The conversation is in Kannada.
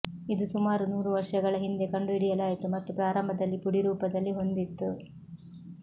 ಇದು ಸುಮಾರು ನೂರು ವರ್ಷಗಳ ಹಿಂದೆ ಕಂಡುಹಿಡಿಯಲಾಯಿತು ಮತ್ತು ಪ್ರಾರಂಭದಲ್ಲಿ ಪುಡಿ ರೂಪದಲ್ಲಿ ಹೊಂದಿತ್ತು